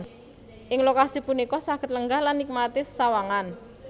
Ing lokasi punika saged lenggah lan nikmati sesawangan